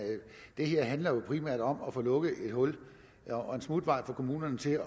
det her handler jo primært om at få lukket et hul og en smutvej for kommunerne til